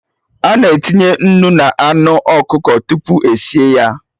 Ana etinye nnu na anụ ọkụkọ tupu esie ya